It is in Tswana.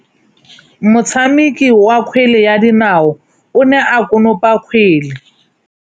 Motshameki wa kgwele ya dinaô o ne a konopa kgwele.